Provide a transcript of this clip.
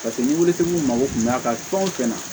Paseke ni witiri min mago kun b'a kan fɛn o fɛn na